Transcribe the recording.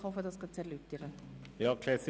Folgender Vorstoss ist nicht abzuschreiben: